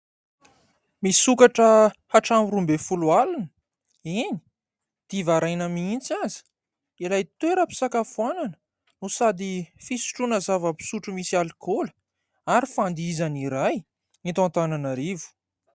Misokatra hatramin'ny roa ambin'ny folo alina, eny diva haraina mihitsy aza ilay toeram-pisakafoanana no sady fisotroana zava-pisotro misy alikaola ary fandihizana iray eto Antananarivo.